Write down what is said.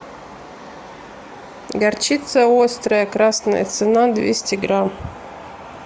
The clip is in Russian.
горчица острая красная цена двести грамм